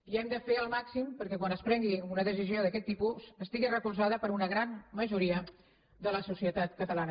i hem de fer el màxim perquè quan es prengui una decisió d’aquest tipus estigui recolzada per una gran majoria de la societat catalana